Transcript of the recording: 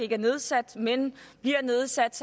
er nedsat men bliver nedsat